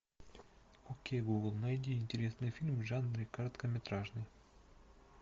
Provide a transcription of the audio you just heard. окей гугл найди интересные фильмы в жанре короткометражный